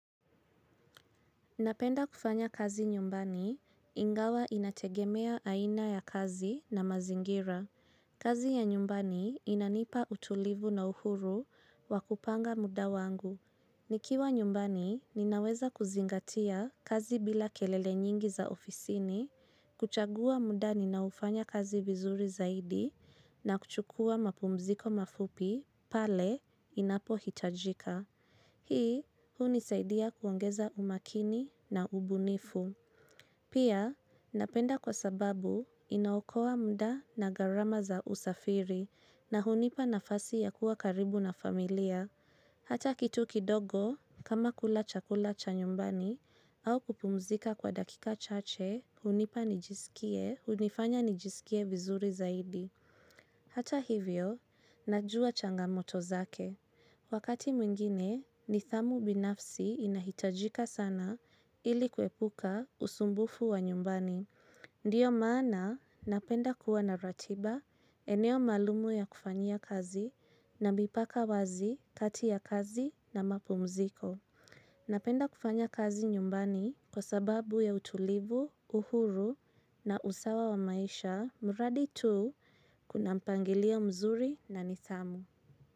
Napenda kufanya kazi nyumbani, ingawa inategemea aina ya kazi na mazingira. Kazi ya nyumbani inanipa utulivu na uhuru wa kupanga muda wangu. Nikiwa nyumbani, ninaweza kuzingatia kazi bila kelele nyingi za ofisini, kuchagua muda ninaofanya kazi vizuri zaidi na kuchukua mapumziko mafupi pale inapo hitajika. Hii, hunisaidia kuongeza umakini na ubunifu. Pia, napenda kwa sababu inaokoa muda na garama za usafiri na hunipa nafasi ya kuwa karibu na familia. Hata kitu kidogo, kama kula chakula cha nyumbani au kupumzika kwa dakika chache, hunipa nijisikie, hunifanya nijisikie vizuri zaidi. Hata hivyo, najua changamoto zake. Wakati mwingine, nidhamu binafsi inahitajika sana ili kuepuka usumbufu wa nyumbani. Ndiyo maana napenda kuwa na ratiba, eneo maalumu ya kufanyia kazi na mipaka wazi kati ya kazi na mapumziko. Napenda kufanya kazi nyumbani kwa sababu ya utulivu, uhuru na usawa wa maisha, muradi tu kuna mpangilio mzuri na nidhamu.